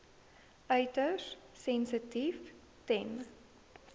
uiters sensitief ten